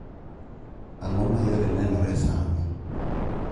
ang�o ma yore nenore sani?